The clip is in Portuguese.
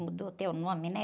Mudou até o nome, né?